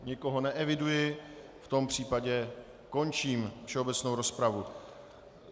Nikoho neeviduji, v tom případě končím všeobecnou rozpravu.